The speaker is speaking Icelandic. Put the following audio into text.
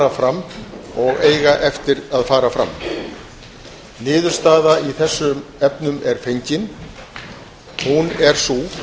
fram og eiga eftir að fara fram niðurstaða í þessum efnum er fengin hún er sú